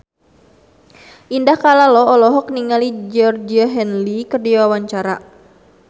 Indah Kalalo olohok ningali Georgie Henley keur diwawancara